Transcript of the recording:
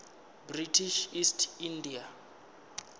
british east india